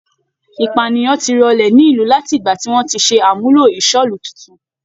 Ìpànìyàn ti rọlẹ̀ ní ìlú láti ìgbà tí wọ́n ti ṣe àmúlò ìṣọ́'lú titun.